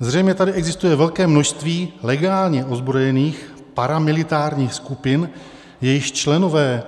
Zřejmě tady existuje velké množství legálně ozbrojených paramilitárních skupin, jejichž členové,